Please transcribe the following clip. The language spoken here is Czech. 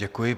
Děkuji.